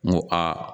N ko a